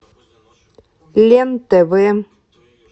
лен тв